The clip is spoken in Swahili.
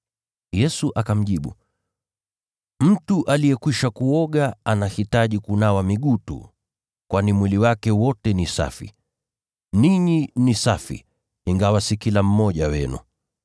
Yesu akamjibu, “Mtu aliyekwisha kuoga anahitaji kunawa miguu tu, kwani mwili wake wote ni safi. Ninyi ni safi, ingawa si kila mmoja wenu.”